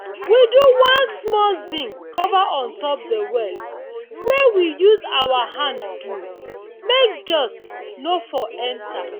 we do one small zinc cover on top de well wey we use our hand do make dust no for enter.